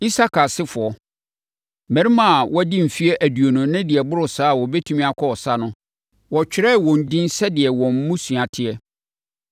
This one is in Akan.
Isakar asefoɔ: Mmarima a wɔadi mfeɛ aduonu ne deɛ ɛboro saa a wɔbɛtumi akɔ ɔsa no, wɔtwerɛɛ wɔn edin sɛdeɛ wɔn mmusua teɛ.